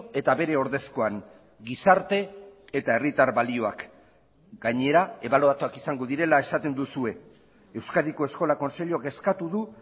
eta bere ordezkoan gizarte eta herritar balioak gainera ebaluatuak izango direla esaten duzue euskadiko eskola kontseiluak eskatu du